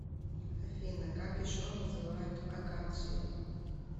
афина как еще называют акации